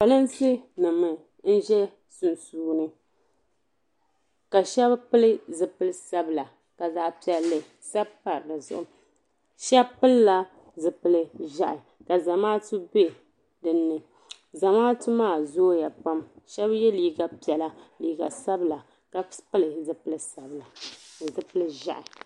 polinsi nima n ʒɛ sunsuuni ka sheba pili zipil'sabila ka zaɣa piɛli sabi pa dizuɣu sheba pilila zipil'ʒehi ka Zamaatu be dinni Zamaatu maa zooya pam sheba ye liiga piɛla liiga sabla ka pili zipil'sabila ni zipil'ʒehi.